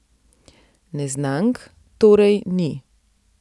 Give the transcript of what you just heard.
Neznank torej ni.